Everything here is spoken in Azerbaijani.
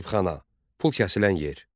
Zərbxana, pul kəsilən yer.